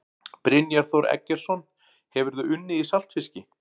Brynjar Þór Eggertsson Hefurðu unnið í saltfiski?